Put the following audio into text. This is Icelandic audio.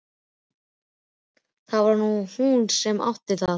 Það var hún sem átti það.